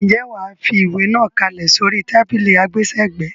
Ǹjẹ́ wà á fi ìwé náà kalẹ̀ sórí tábìlì àgbésẹ̀gbẹ́.